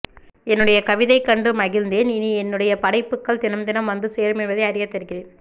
என்னுடைய கவிதை கண்டு மகிழ்ந்தேன் இனிஎன்னுடைய படைப்புக்கள் தினம் தினம் வந்து சேரும் என்பதை அறியத்தருகிறேன்